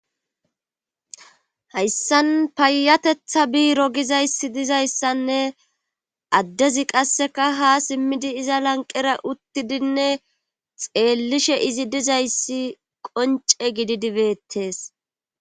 Hayssan payatetha biiro gizayssi dizayssanne addezi qasseka ha simmidi iza lanqera uttidinne xeellishe izi dizayssi qonce gididibettes.